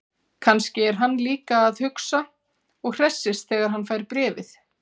Kannski er hann líka að hugsa og hressist þegar hann fær bréfið.